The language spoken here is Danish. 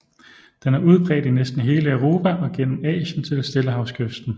Den er udbredt i næsten hele Europa og gennem Asien til stillehavskysten